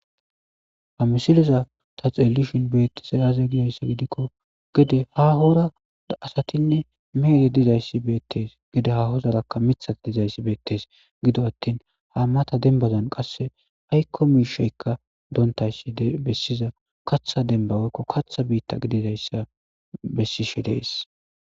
Ha misiliza ta xeelishin beettishe aze gida issa gidikko gede ahora asatinne meehe diza issi beettes. Gede hahozarakka mithati diza issi beettes. Gidoattin ha mata denbazon qasse aykko misheykka doontay issi bessiza katha demba woykko katha biitta gidida issa bessishe dees.